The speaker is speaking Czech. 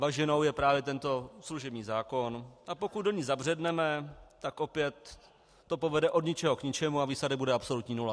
Bažinou je právě tento služební zákon, a pokud do ní zabředneme, tak opět to povede od ničeho k ničemu a výsledek bude absolutní nula.